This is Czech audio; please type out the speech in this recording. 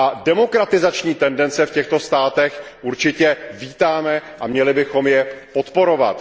Demokratizační tendence v těchto státech určitě vítáme a měli bychom je podporovat.